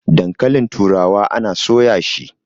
dankalin turawa ana soya shi!